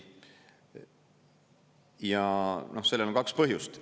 Ja sellel on kaks põhjust.